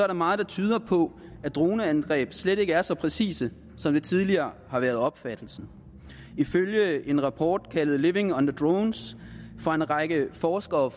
der meget der tyder på at droneangreb slet ikke er så præcise som det tidligere har været opfattelsen ifølge en rapport kaldet living under drones fra en række forskere